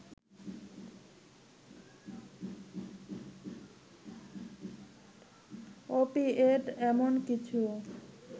opioid এমন কিছু